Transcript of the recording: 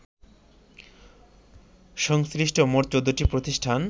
সংশ্লিষ্ট মোট ১৪টি প্রতিষ্ঠান